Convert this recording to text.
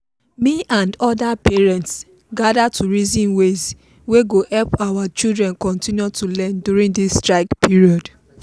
me and other parents gather to reason ways wey go help our children continue to learn during this strike period.